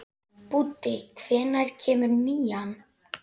Búddi, hvenær kemur nían?